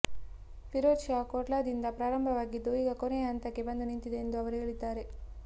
ಫಿರೋಜ್ ಶಾ ಕೋಟ್ಲಾದಿಂದ ಪ್ರಾರಂಭವಾಗಿದ್ದು ಈಗ ಕೊನೆಯ ಹಂತಕ್ಕೆ ಬಂದು ನಿಂತಿದೆ ಎಂದು ಅವರು ಹೇಳಿದ್ದಾರೆ